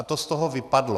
A to z toho vypadlo.